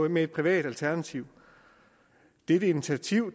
med et privat alternativ er et initiativ